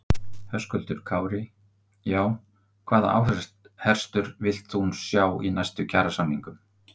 Höskuldur Kári: Já, hvaða áherslur villt þú sjá í næstu kjarasamningum?